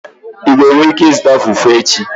Ị ga-enwe ike ịzụta Fufu echi?